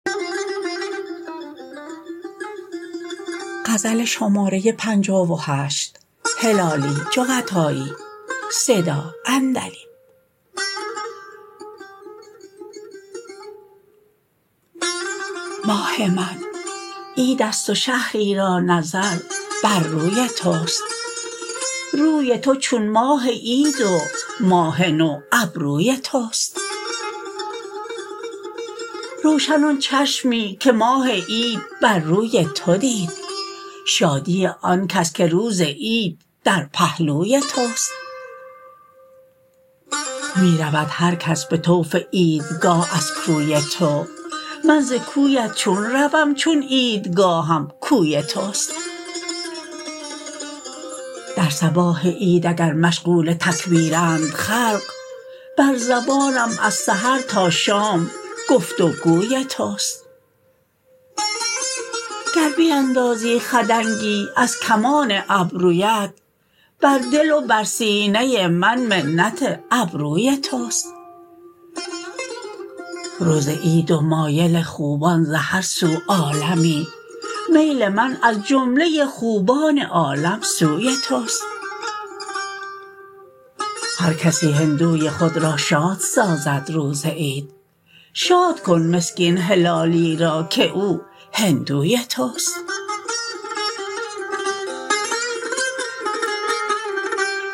ماه من عیدست و شهری را نظر بر روی تست روی تو چون ماه عید و ماه نو ابروی تست روشن آن چشمی که ماه عید بر روی تو دید شادی آن کس که روز عید در پهلوی تست می رود هر کس بطوف عید گاه از کوی تو من ز کویت چون روم چون عید گاهم کوی تست در صباح عید اگر مشغول تکبیرند خلق بر زبانم از سحر تا شام گفت و گوی تست گر بیندازی خدنگی از کمان ابرویت بر دل و بر سینه من منت ابروی تست روز عید و مایل خوبان ز هر سو عالمی میل من از جمله خوبان عالم سوی تست هر کسی هندوی خود را شاد سازد روز عید شاد کن مسکین هلالی را که او هندوی تست